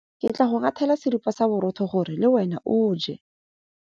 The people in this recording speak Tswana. Ke tla go ngathela seripa sa borotho gore le wena o je.